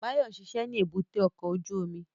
Báyọ̀ ń ṣiṣẹ́ ní èbúté ọkọ̀ ojú omi